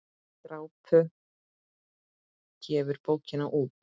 Drápa gefur bókina út.